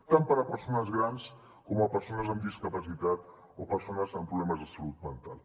tant per a persones grans com persones amb discapacitat o persones amb problemes de salut mental